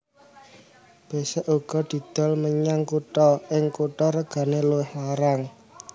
Besek uga didol menyang kutha ing kutha regane luwih larang